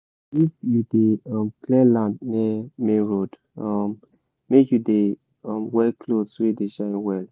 if you dey clear land near main road make you dey wear cloth wey dey shine well